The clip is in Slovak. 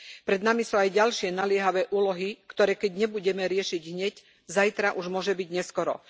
Pred nami sú aj ďalšie naliehavé úlohy, ktoré keď nebudeme riešiť hneď, zajtra už môže byť neskoro.